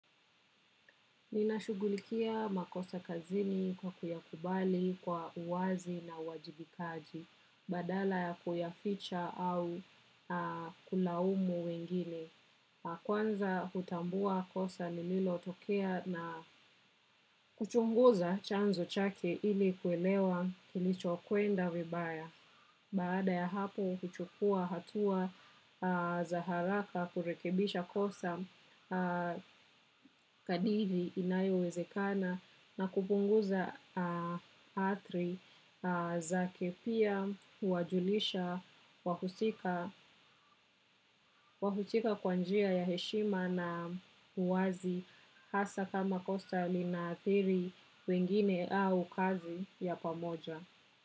Ninashughulikia makosa kazini kwa kuyakubali kwa uwazi na uwajibikaji badala ya kuyaicha au kulaumu wengine. Kwanza hutambua kosa ni lililotokea na kuchunguza chanzo chake ili kuelewa kilicho kwenda vibaya. Baada ya hapo kuchukua hatua za haraka kurekebisha kosa kadri inayowezekana na kupunguza athari zake pia huwajulisha wahusika kwa njia ya heshima na uwazi hasa kama kosa lina athiri wengine au kazi ya pamoja.